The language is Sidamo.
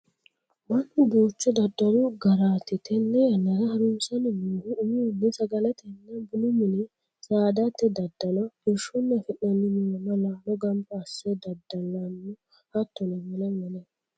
Mannu duuchu daddalu garati tene yannara harunsanni noohu umihunni sagaletenna bunu mine, saadate daddalo, irshunni afi'nanni muronna laalo gamba asse dadda'la hattono wole wole.